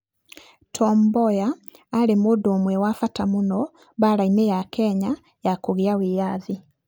Tom Mboya aarĩ mũndũ ũmwe wa bata mũno mbaara-inĩ ya Kenya ya kũgĩa na wĩyathi.